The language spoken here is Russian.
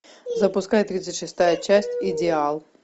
запускай тридцать шестая часть идеал